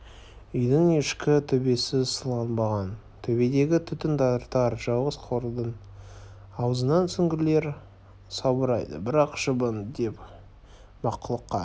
үйдің ішкі төбесі сыланбаған төбедегі түтін тартар жалғыз қуырдың аузынан сүңгілер салбырайды бірақ шыбын деген мақұлыққа